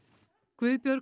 Guðbjörg